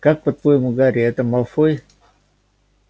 как по-твоему гарри это малфой